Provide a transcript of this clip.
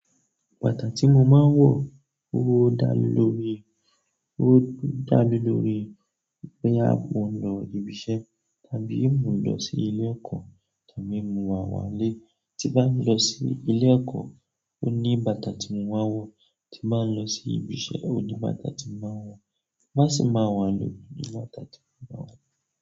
Bàtà tí mo máa ń wọ̀ ó dá lóore, ó dá lóore pé a máa ń lọ ibi iṣẹ́ tàbí mo lọ sí ilé ẹ̀kọ́ tàbí mo wá wá ilé. Tí bá lọ sí ilé ẹ̀kọ́, ó ní bàtà tí mo máa ń wọ̀, tí bá lọ sí ibi iṣẹ́, ó ní bàtà tí mo máa ń wọ̀, má sì máa wà ní ibi ní bàtà tí mo máa ń wọ̀.